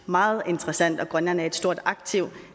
meget interessant og at grønland er et stort aktiv